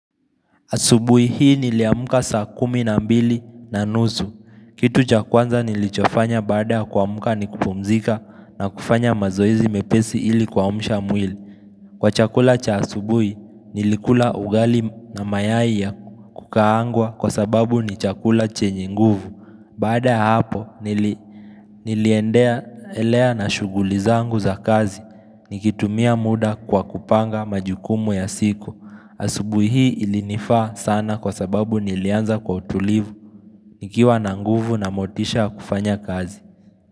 Asubuhi hii niliamka saa kumi na mbili na nusu. Kitu cha kwanza nilichofanya baada kuamka ni kupumzika na kufanya mazoezi mepesi ili kuamsha mwili. Kwa chakula cha asubuhi nilikula ugali na mayai ya kukaangwa kwa sababu ni chakula chenye nguvu. Baada ya hapo niliendelea na shughuli zangu za kazi Nikitumia muda kwa kupanga majukumu ya siku asubuhi hii ilinifaa sana kwa sababu nilianza kwa utulivu nikiwa na nguvu na motisha kufanya kazi.